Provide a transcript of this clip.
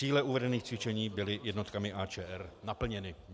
Cíle uvedených cvičení byly jednotkami AČR naplněny.